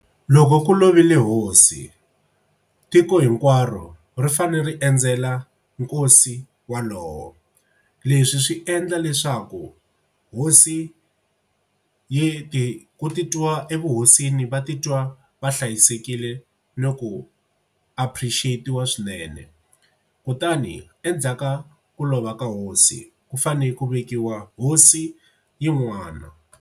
Loko ku lovile hosi tiko hinkwaro ri fanele ri endzela nkosi walowo. Leswi swi endla leswaku hosi yi ti ku titwa evuhosini va titwa va hlayisekile loko a appreciate-wa swinene kutani endzhaku ka ku lova ka hosi ku fane ku vekiwa hosi yin'wana.